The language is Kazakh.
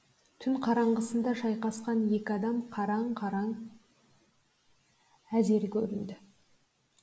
түн қараңғысында шайқасқан екі адам қараң қараң етіп әзер көрінді